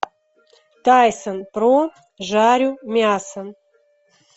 тайсон про жарю мясо